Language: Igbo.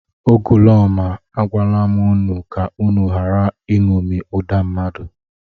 Ugoloọma, agwala m unu ka unu ghara iṅomi ụda mmadụ!